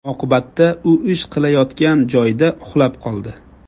Oqibatda u ish qilayotgan joyida uxlab qoldi.